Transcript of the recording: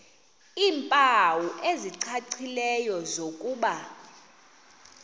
iimpawu ezicacileyo zokuba